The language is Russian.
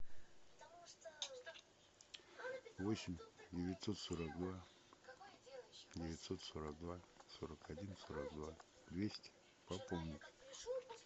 восемь девятьсот сорок два девятьсот сорок два сорок один сорок два двести пополнить